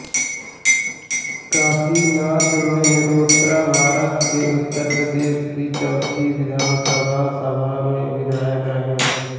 काशीनाथ मेहरोत्राभारत के उत्तर प्रदेश की चौथी विधानसभा सभा में विधायक रहे